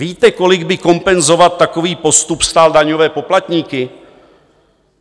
Víte, kolik by kompenzovat takový postup stálo daňové poplatníky?